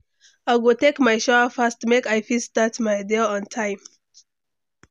I go take my shower fast make I fit start my day on time.